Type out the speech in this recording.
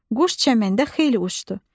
Quş çəməndə xeyli uçdu.